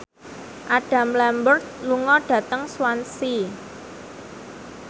Adam Lambert lunga dhateng Swansea